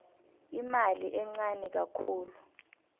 imali encani khulu